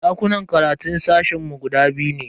Dakunan karatun sashen mu guda biyu ne.